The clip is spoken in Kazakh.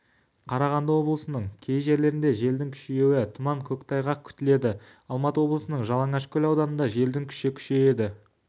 қарағанды облысының кей жерлерінде желдің күшеюі тұман көктайғақ күтіледі алматы облысының жалаңашкөл ауданында желдің күші күшейеді